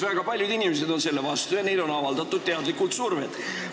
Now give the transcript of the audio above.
Väga paljud inimesed on selle ametisse nimetamise vastu ja neile on teadlikult survet avaldatud.